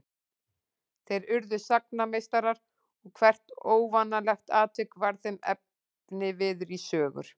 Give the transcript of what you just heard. Þeir urðu sagnameistarar og hvert óvanalegt atvik varð þeim efniviður í sögur.